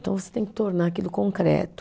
Então, você tem que tornar aquilo concreto.